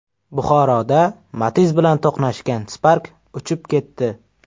Buxoroda Matiz bilan to‘qnashgan Spark uchib ketdi.